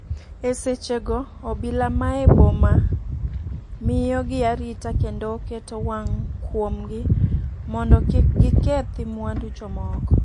E seche go obila mae boma miyo gi arita kendo oketo wang' kuom gi modo kik gikethi mwandu jomoko.